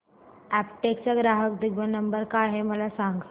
Aptech चा ग्राहक देखभाल नंबर काय आहे मला सांग